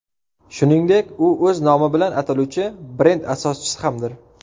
Shuningdek, u o‘z nomi bilan ataluvchi brend asoschisi hamdir.